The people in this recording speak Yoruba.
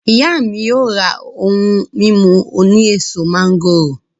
Iya mi yoo ra ohun mimu oni eso mangoro.